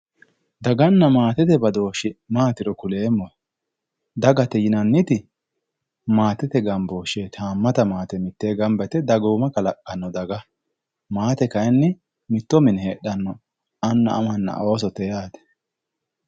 Daganna maatete badooshshe maatiro kuleemmohe dagate yinnniti maatete gamboshsheeti. Haamata maate mittee gamba yite dagooma kalaqanno daga. Maate kaayiinni mitto mine heedhanno anna amanna oosote yaate.